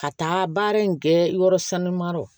Ka taa baara in kɛ yɔrɔ sanuma yɔrɔ